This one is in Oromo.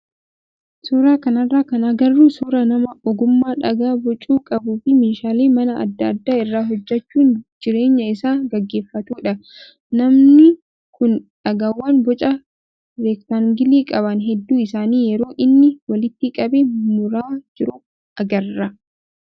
Suuraa kanarraa kan agarru suuraa nama ogummaa dhagaa bocuu qabuu fi meeshaalee manaa adda addaa irraa hojjachuun jireenya isaa gaggeeffatudha. Namnu kun dhagaawwan boca reektaangilii qaban hedduu isaanii yeroo inni walitti qabee muraa jiru agarra.